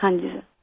ہاں جی سر